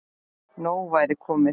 Nóg væri komið.